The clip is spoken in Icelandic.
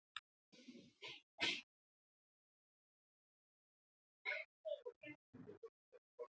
Ætli þú verðir bara ekki sendur heim til þín hið bráðasta.